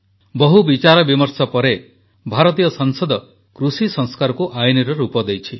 ବହୁ ବିଚାରବିମର୍ଶ ପରେ ଭାରତୀୟ ସଂସଦ କୃଷି ସଂସ୍କାରକୁ ଆଇନର ରୂପ ଦେଇଛି